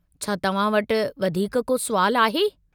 छा तव्हां वटि वधीक को सुवालु आहे?